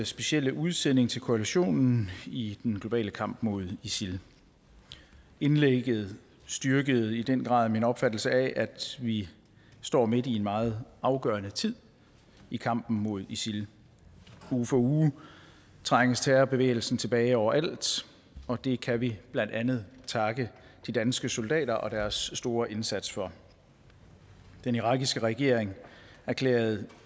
specielle udsending til koalitionen i den globale kamp mod isil indlægget styrkede i den grad min opfattelse af at vi står midt i en meget afgørende tid i kampen mod isil uge for uge trænges terrorbevægelsen tilbage overalt og det kan vi blandt andet takke de danske soldater og deres store indsats for den irakiske regering erklærede